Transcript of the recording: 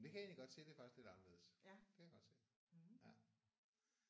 Det kan jeg egentlig godt se. Det er faktisk lidt anderledes. Det kan jeg godt se ja